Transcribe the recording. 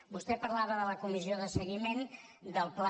vostè parlava de la comissió de seguiment del pla